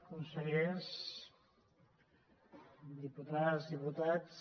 consellers diputades diputats